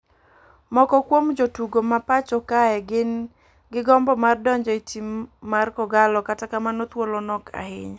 Moko kuom jotugo ma pacho kae ni gi gombo mar donjo e tim mar kogallo kata kamano thuolo nok ahinya.